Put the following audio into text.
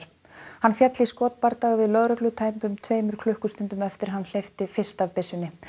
hann féll í skotbardaga við lögreglu tæpum tveimur klukkustundum eftir að hann hleypti fyrst af byssunni